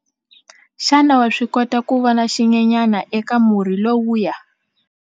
Xana wa swi kota ku vona xinyenyana eka murhi lowuya?